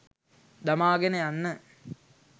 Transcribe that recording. දමාගෙන යන්න.